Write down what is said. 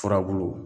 Furabulu